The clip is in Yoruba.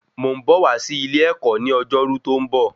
Mo ń bọ̀ wá sí ilé ẹ̀kọ́ ní ọjọ́ ọjọ́rú tó ń bọ̀